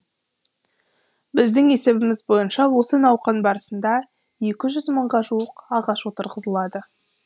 біздің есебіміз бойынша осы науқан барысында екі жүз мыңға жуық ағаш отырғызылады